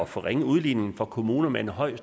forringe udligningen for kommuner med et højt